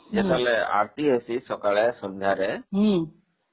ସେଠି ଆରତୀ ହଉଛି ସକାଳେ ଆଉ ସନ୍ଧ୍ୟାରେ